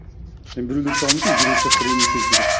і біреулер сұрауы мүмкін жиырма үш жасқа дейін не істеп жүрсің деп